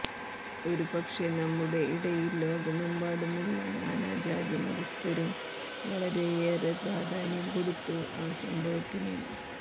ഒരുപക്ഷേ നമ്മുടെ ഇടയിൽ ലോകമെമ്പാടുമുള്ള നാനാജാതിമതസ്ഥരും വളരെയേറെ പ്രാധാന്യം കൊടുത്തു ആ സംഭവത്തിന്